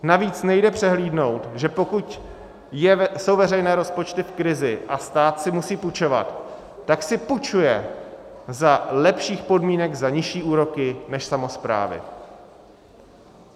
Navíc nejde přehlédnout, že pokud jsou veřejné rozpočty v krizi a stát si musí půjčovat, tak si půjčuje za lepších podmínek, za nižší úroky než samosprávy.